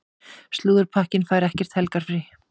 Slúðurpakkinn fær ekkert helgarfrí.